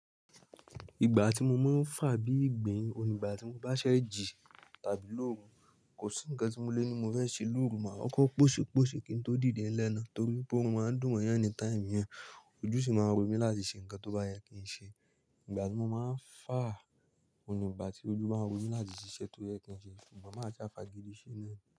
Ìgbà tí mo máa ń fà bí ìgbín, òun ìgbà tí mo bá ṣẹ́ jì tàbí lòrù, kò sí ǹkan tí mo lé ní mo fẹ́ ṣe lórù ma, kọkọ́ pọ̀ṣẹ̀ pọ̀ṣẹ̀ kí n tó dìde lẹ́na, torí pé òòrùn máa ń dùn mo yàn ní time yẹn, ojú sì máa ń ro mí láti ṣe ǹkan tó bá yẹ kí n ṣe. Ìgbà tí mo máa ń fà, òun ìgbà tí ojú máa ń ro mí láti ṣiṣẹ́ tó yẹ kí n ṣe, sugbon máa sà fà gidi se nánì.